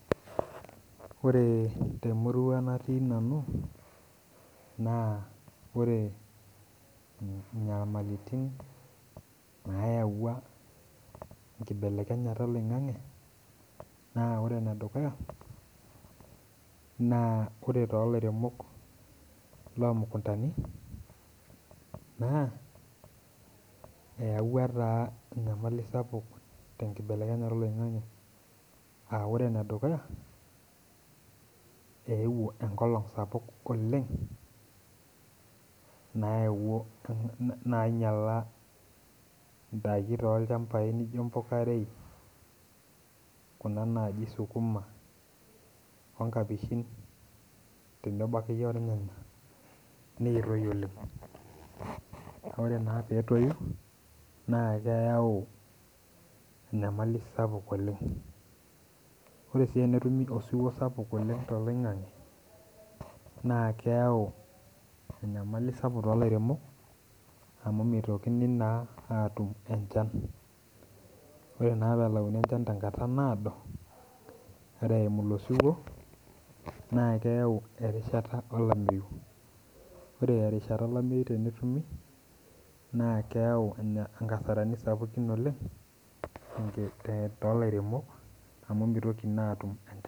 Ore te murua nati nanu naa ore inyamaliritin nayauwa enkibelekenyata eloing'ang'e, naa ore ene dukuya naa kore too ilairemok loo mukuntani naa eyauwa taa inyamali sapuk te nkibelekenyata eloing'ang'e aa ore ne dukuya, eewuo enkolong sapuk oleng naewuo, nainyala indaki too ilchambai naijo impukairei, kuna naaji suguma onkapeshin tenebo ake iyie olnyanya netoi oleng, ore naa peetoiyu naa keyeu inyamali sapuk oleng, ore sii enetumi osuwuo sapuk oleng te eloing'ang'e naa keyau enyamali sapuk too ilairemok amu meitoki naa aatum enchan, ore naa peelauni enchan tenkata naodo, ore eimu ilo siwuo naa keyeu erishata olameiyu, ore erishata olameiyu tenetumi naa keyeu enkasarani sapukin oleng te ilairemok amu meitoki naa aatum enchan.